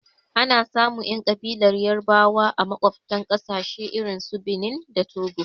Anasamun ƴan ƙabilar yarabawa a maƙwaftan ƙasashe irinsu Benin da Togo.